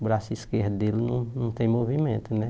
O braço esquerdo dele não não tem movimento, né?